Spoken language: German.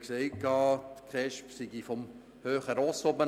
Er sagte, die KESB würden von einem hohen Ross herab handeln.